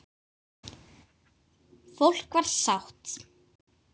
Fólk var sátt.